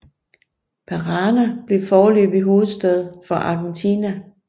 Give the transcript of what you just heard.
Parana blev foreløbig hovedstad for Argentina